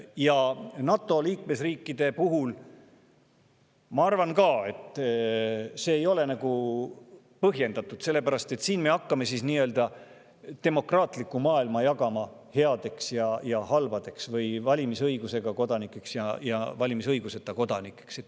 Ma arvan, et ka NATO liikmesriikide puhul ei ole see põhjendatud, sellepärast et siis me hakkame demokraatlikku maailma jagama heaks ja halvaks või valimisõigusega kodanikud ja valimisõiguseta kodanikud.